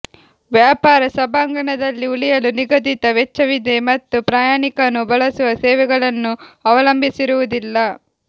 ವ್ಯಾಪಾರ ಸಭಾಂಗಣದಲ್ಲಿ ಉಳಿಯಲು ನಿಗದಿತ ವೆಚ್ಚವಿದೆ ಮತ್ತು ಪ್ರಯಾಣಿಕನು ಬಳಸುವ ಸೇವೆಗಳನ್ನು ಅವಲಂಬಿಸಿರುವುದಿಲ್ಲ